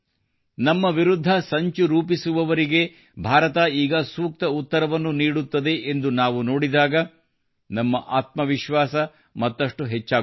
ನಮ್ಮ ವಿರುದ್ಧ ಸಂಚು ರೂಪಿಸುವವರಿಗೆ ಭಾರತ ಈಗ ಸೂಕ್ತ ಉತ್ತರವನ್ನು ನೀಡುತ್ತದೆ ಎಂದು ನಾವು ನೋಡಿದಾಗ ನಮ್ಮ ಆತ್ಮವಿಶ್ವಾಸ ಮತ್ತಷ್ಟು ಹೆಚ್ಚಾಗುತ್ತದೆ